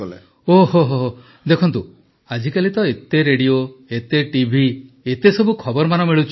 ପ୍ରଧାନମନ୍ତ୍ରୀ ଓହୋ ଦେଖନ୍ତୁ ଆଜିକାଲି ତ ଏତେ ରେଡିଓ ଏତେ ଟିଭି ଏତେ ସବୁ ଖବରମାନ ମିଳୁଛି